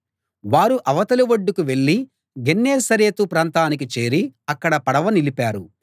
వారు అవతలి ఒడ్డుకు వెళ్ళి గెన్నేసరెతు ప్రాంతానికి చేరి అక్కడ పడవ నిలిపారు